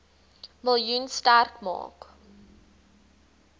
miljoen sterk maak